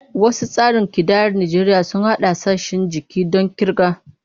Wasu tsarin kidayar Najeriya sun haɗa sassan jiki don kirga.